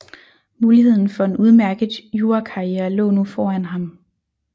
Muligheden for en udmærket jurakarriere lå nu foran ham